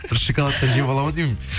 бір шоколадты жеп аламын ау деймін